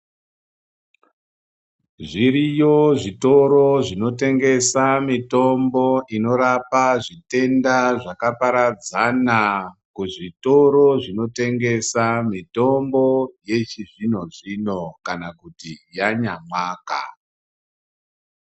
Zviriyo zvitoro zvinotengesa mitombo inorapa zvitenda zvakaparadzana kuzvitoro zvinotengesa mitombo yechizvino-zvino kana kuti yanyamwaka.